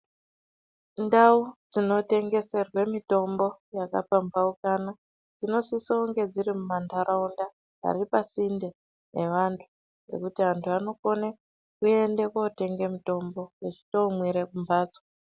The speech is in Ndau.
Ndau dzinotengeserwe mitombo yakapambaukana dzinosisonge dziri mumantaraunda ari pasinde nevantu pekuti antu anokone kuende kootenge mitombo vechindoomwire kumbatso.